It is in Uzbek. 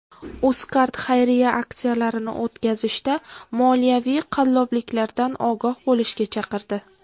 UzCard xayriya aksiyalarini o‘tkazishda moliyaviy qallobliklardan ogoh bo‘lishga chaqirdi.